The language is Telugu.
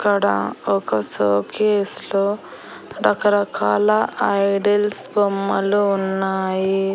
ఇక్కడ ఒక షోకేస్ లో రకరకాల ఐడిల్స్ బొమ్మలు ఉన్నాయి.